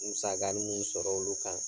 Musakanin mun sɔrɔ olu kan.